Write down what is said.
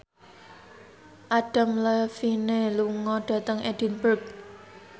Adam Levine lunga dhateng Edinburgh